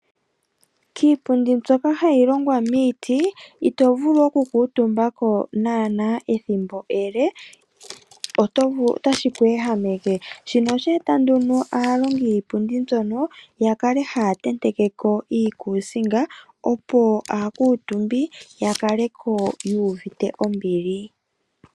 Kiipundi mbyoka hayi longwa miiti, ito vulu oku kuutumbako naana ethimbo ele, ota yi ku ehameke. Shika oha shi eta nduno aalongi yiipundi mbino yakale haya tentekeko iikusinga opo aakuutumbi ya kaleko yu uvite ombili.